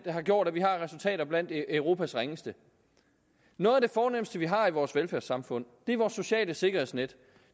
har gjort at vi har resultater blandt europas ringeste noget af det fornemste vi har i vores velfærdssamfund er vores sociale sikkerhedsnet